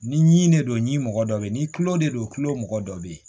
Ni ɲi ne don ni mɔgɔ dɔ be yen ni kulon de don kulo mɔgɔ dɔ be yen